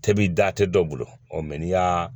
Tɛbi da tɛ dɔ bolo ɔ mɛ n'i y'a